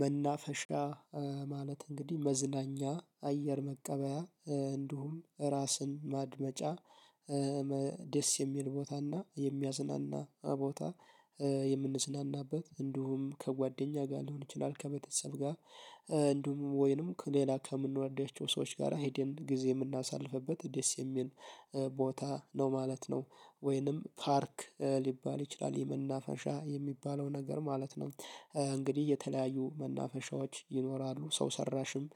መናፈሻ ማለት እንግዲህ መዝናኛ አየር መቀበያ እንዲሁም ራስን ማድመጫ። ደስ የሚል ቦታና የሚያዝናና ቦታ የምንዝናናበት እንዲሁም ከጓደኛ ጋር ሊሆን ይችላል ከቤተሰብ ጋር እንዲሁም ወይንም ከሌላ ከምንወዳቸው ሰዎች ጋር ሄደን ጊዜ የምናሳልፍበት ደስ የሚል ቦታ ነው ማለት ነው። ወይንም ፓርክ ሊባል ይችላል የመናፈሻ የሚባለው ነገር ማለት ነው። እንግዲህ የተለያዩ መናፈሻዎች ይኖራሉ ሰው ሰራሽም